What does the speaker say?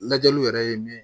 Lajɛliw yɛrɛ ye min ye